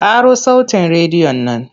Ƙaro sautin rediyon nan!